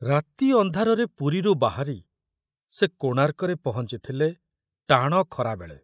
ରାତି ଅନ୍ଧାରରେ ପୁରୀରୁ ବାହାରି ସେ କୋଣାର୍କରେ ପହଞ୍ଚିଥିଲେ ଟାଣ ଖରାବେଳେ।